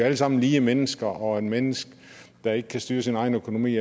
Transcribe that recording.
alle sammen lige mennesker og et menneske der ikke kan styre sin egen økonomi